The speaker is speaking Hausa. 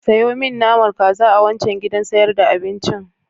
Sayo min naman kaza a wancan gidan sayar da abincin.